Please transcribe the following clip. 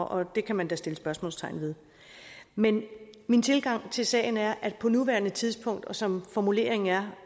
og det kan man da sætte spørgsmålstegn ved men min tilgang til sagen er at på nuværende tidspunkt og som formuleringen er